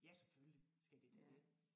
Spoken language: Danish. Ja selvfølgelig skal de da det